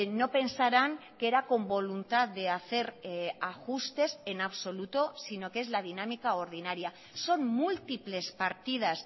no pensaran que era con voluntad de hacer ajustes en absoluto sino que es la dinámica ordinaria son múltiples partidas